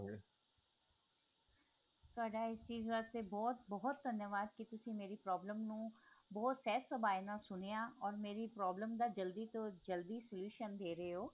ਤੁਹਾਡਾ ਇਹ ਚੀਜ਼ ਵਾਸਤੇ ਬਹੁਤ ਬਹੁਤ ਧੰਨਵਾਦ ਕੀ ਤੁਸੀਂ ਮੇਰੀ problem ਨੂੰ ਬਹੁਤ ਸਹਿਜ ਸੁਭਾ ਨਾਲ ਸੁਣਿਆ or ਮੇਰੀ problem ਦਾ ਜਲਦੀ ਤੋਂ ਜਲਦੀ solution ਦੇ ਰੇ ਓ